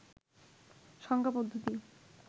সংখ্যা পদ্ধতি